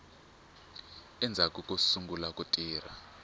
endzhaku ko sungula ku tirha